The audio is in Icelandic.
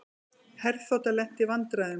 Herþota lenti í vandræðum